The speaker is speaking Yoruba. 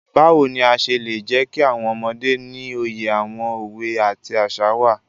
Báwo ni a ṣe lè jẹkí àwọn ọmọdé ní òye àwọn òwe àti àṣà wá?